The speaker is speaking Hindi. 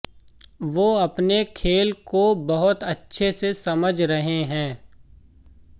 वो अपने खेल को बहुत अच्छे से समझ रहे हैं